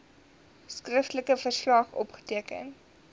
skriftelike verslag opgeteken